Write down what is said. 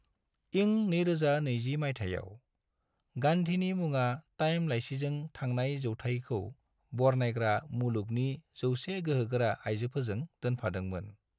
इं 2020 माइथायाव, गान्धीनि मुङा टाइम लाइसिजों थांनाय जौथाइखौ बरनायग्रा मुलुगनि 100 गोहोगोरा आइजोफोरजों दोनफादोंमोन।